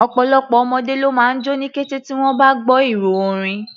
Ọ̀pọ̀lọpọ̀ ọmọdé ló máa jó ní kété tí wọ́n bá gbọ́ ìró orin.